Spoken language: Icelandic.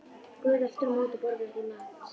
Guð aftur á móti borðar ekki mat.